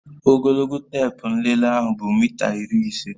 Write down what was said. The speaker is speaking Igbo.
Ogologo teepu nlele ahu bụ mita iri ise